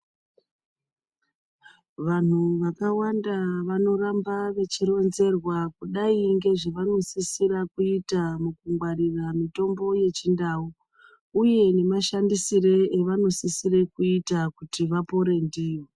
Vanhu vakawanda vanoramba vechironzerwa kudai ngezvavanosisira kuita mukungwarira mitombo yechindau. Uye nemashandisiro avanosisira kuita kuti vapore ndiyo.